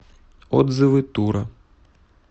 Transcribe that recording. отзывы тура